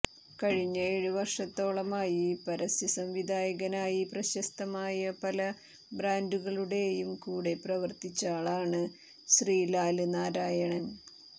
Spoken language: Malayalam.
കഴിഞ്ഞ ഏഴ് വര്ഷത്തോളമായി പരസ്യസംവിധായകനായി പ്രശസ്തമായ പല ബ്രാന്ഡുകളുടെയും കൂടെ പ്രവര്ത്തിച്ച ആളാണ് ശ്രീലാല് നാരായണന്